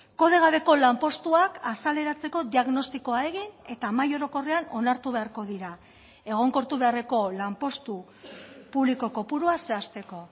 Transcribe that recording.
kode gabeko lanpostuak azaleratzeko diagnostikoa egin eta mahai orokorrean onartu beharko dira egonkortu beharreko lanpostu publiko kopurua zehazteko